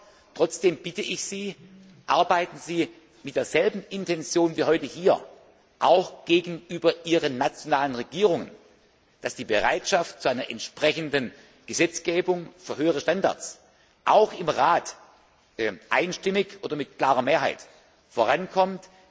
Dennoch bitte ich Sie, arbeiten Sie mit derselben Intension wie heute hier, auch gegenüber Ihren nationalen Regierungen, damit die Bereitschaft zu einer entsprechenden Gesetzgebung für höhere Standards auch im Rat einstimmig oder mit klarer Mehrheit vorankommt.